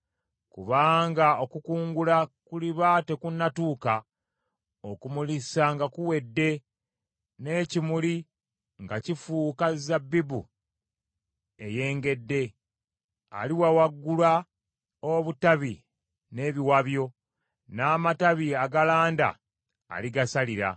Kubanga okukungula kuliba tekunatuuka, okumulisa nga kuwedde, n’ekimuli nga kifuuka zabbibu eyengedde, aliwawaagula obutabi n’ebiwabyo, n’amatabi agalanda aligasalira.